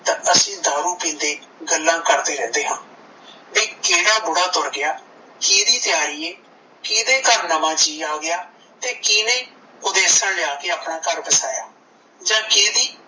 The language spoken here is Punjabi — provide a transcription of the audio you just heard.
ਤਾਂ ਅਸੀਂ ਦਾਰੂ ਪੀਂਦੇ ਗੱਲਾਂ ਕਰਦੇ ਰਹਿੰਦੇ ਆ ਕਿਹੜਾ ਬੁੜਾ ਤੁਰ ਗਿਆ ਕਿਹਦੀ ਤਿਆਰੀ ਏ ਕਿਹਦੇ ਘਰ ਨਵਾਂ ਕੀ ਆ ਗਿਆ ਤੇ ਕਿਹਨੇ ਓਦੇਸਣ ਲਿਆ ਕੇ ਆਪਣਾ ਘਰ ਵਸਾਇਆ ਜਾਂ ਕਿਹਦੀ